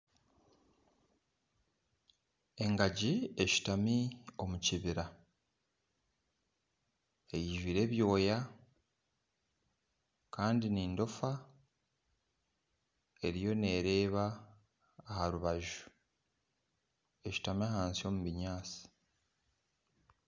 Engagi eshutami omukibira eijwire ebyoya Kandi nendofa eriyo nereeba aharubaju eshutami ahansi omu bunyatsi